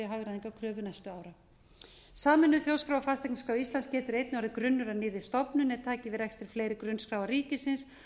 hagræðingarkröfu næstu ára sameinuð þjóðskrá og fasteignaskrá íslands getur efni orðið grunnur að nýrri stofnun er taki við rekstri fleiri grunnskráa ríkisins